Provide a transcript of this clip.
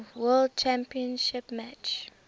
world championship match